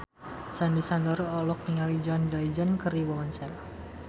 Sandy Sandoro olohok ningali John Legend keur diwawancara